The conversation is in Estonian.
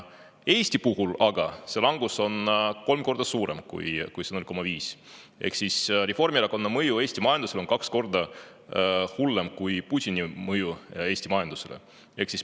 Eestis aga on see langus olnud kolm korda suurem kui 0,5% ehk Reformierakonna mõju Eesti majandusele on kaks korda hullem kui Putini mõju Eesti majandusele.